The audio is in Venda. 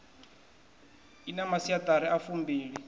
i na masiaṱari a fumbili